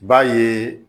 B'a ye